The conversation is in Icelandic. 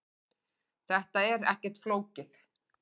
Þetta er ekkert flókið